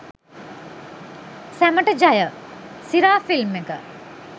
සැමට ජය! සිරා ෆිල්ම් ඒක